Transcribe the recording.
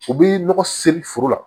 U bi nɔgɔ seri foro la